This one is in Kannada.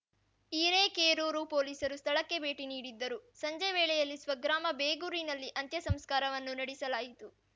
ಹಿರೇಕೇರೂರು ಪೊಲೀಸರು ಸ್ಥಳಕ್ಕೆ ಭೇಟಿ ನೀಡಿದ್ದರು ಸಂಜೆ ವೇಳೆಯಲ್ಲಿ ಸ್ವಗ್ರಾಮ ಬೇಗೂರಿನಲ್ಲಿ ಅಂತ್ಯ ಸಂಸ್ಕಾರವನ್ನು ನಡೆಸಲಾಯಿತು